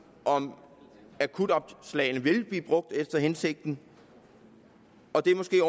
om akutjobopslagene vil blive brugt efter hensigten og det er måske